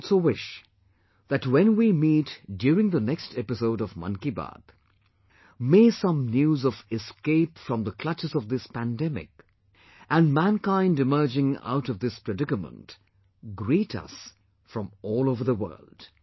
I also wish that when we meet during the next episode of Mann Ki Baat, may some news of escape from the clutches of this pandemic and mankind emerging out of this predicament greet us from all over the world